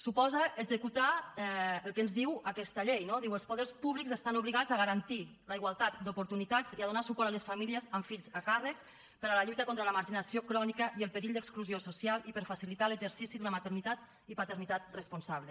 suposa executar el que ens diu aquesta llei no diu els poders públics estan obligats a garantir la igualtat d’oportunitats i a donar suport a les famílies amb fills a càrrec per a la lluita contra la marginació crònica i el perill d’exclusió social i per facilitar l’exercici d’una maternitat i paternitat responsable